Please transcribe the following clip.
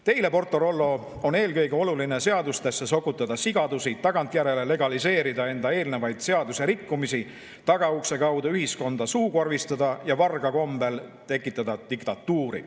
Teile, PortoRollo, on eelkõige oluline sokutada seadustesse sigadusi, tagantjärele legaliseerida enda eelnevaid seaduserikkumisi, tagaukse kaudu ühiskonda suukorvistada ja varga kombel diktatuuri tekitada.